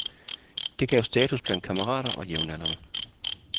Det gav status blandt kammerater og jævnaldrende.